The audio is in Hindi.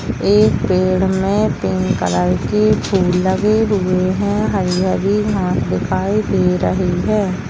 एक पेड़ में पिंक कलर की फूल लगे हुए हैं हरी-हरी घास दिखाई दे रही है।